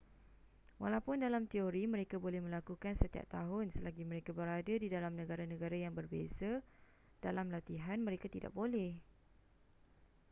walaupun dalam teori mereka boleh melakukan setiap tahun selagi mereka berada di dalam negara-negara yang berbeza dalam latihan mereka tidak boleh